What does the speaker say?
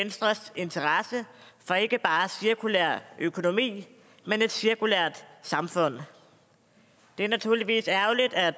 venstres interesse for ikke bare cirkulær økonomi men et cirkulært samfund det er naturligvis ærgerligt at